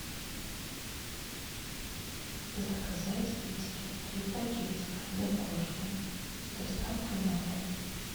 заказать китикет три пакетика для кошки с доставкой на дом